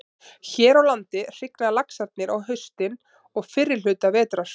Hér á landi hrygna laxarnir á haustin og fyrri hluta vetrar.